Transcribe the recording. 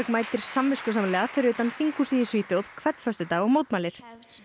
mætir samviskusamlega fyrir utan þinghúsið í Svíþjóð hvern föstudag og mótmælir